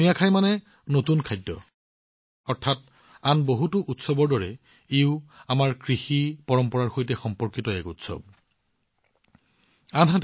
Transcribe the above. নুয়াখাই মানে নতুন খাদ্য অৰ্থাৎ ই আমাৰ কৃষি পৰম্পৰাৰ সৈতে সম্পৰ্কিত এক উৎসৱ আন কৃষিভিত্তিৰ উৎসৱৰ দৰে